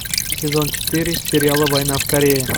сезон четыре сериала война в корее